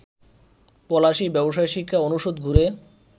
পলাশী, ব্যবসায় শিক্ষা অনুষদ ঘুরে